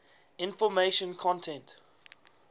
information content